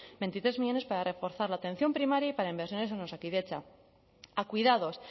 veintitrés millónes para reforzar la atención primaria y para inversiones en osakidetza a cuidados